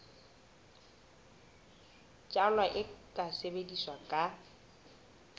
jalwa e ka sebetswa ka